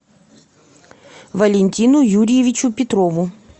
валентину юрьевичу петрову